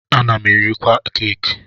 M na-erikwa keki.